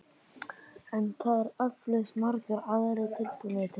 En það eru eflaust margir aðrir tilbúnir til þess.